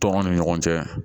Tɔn ni ɲɔgɔn cɛ